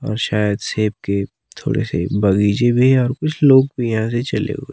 और शायद सेब के थोड़े से बगीचे भी है और कुछ लोग भी ऐसे ही चले हुए--